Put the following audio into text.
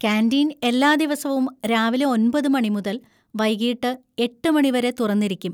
Canteen എല്ലാ ദിവസവും രാവിലെ ഒൻപത് മണി മുതൽ വൈകീട്ട് എട്ട് മണി വരെ തുറന്നിരിക്കും.